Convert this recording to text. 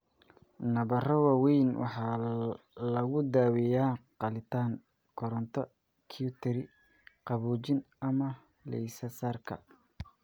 Nabaro waaweyn waxaa lagu daaweeyaa qalitaan, koronto-cautery, qaboojin, ama laysarka.